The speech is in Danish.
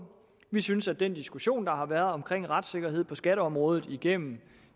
vi synes at den diskussion der har været om retssikkerhed på skatteområdet igennem